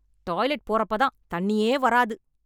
Toilet போறப்ப தான் தண்ணியே வராது.